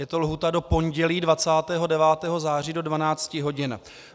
Je to lhůta do pondělí 29. září do 12 hodin.